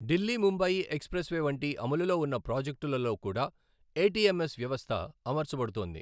Delhi Mumbai expressway వంటి అమలులో ఉన్న ప్రాజెక్టులలో కూడా ఏటీఎంఎస్ వ్యవస్థ అమర్చబడుతోంది.